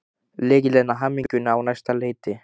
Lykillinn að hamingjunni á næsta leiti.